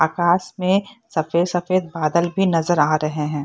आकाश में सफेद-सफेद बादल भी नजर आ रहे हैं।